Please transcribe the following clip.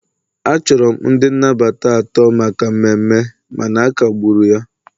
achọrọ m ndị nnabata atọ maka mmemme mana akagburu ya